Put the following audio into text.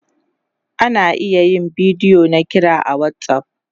ana iya yin bidiyo na kira a WhatsApp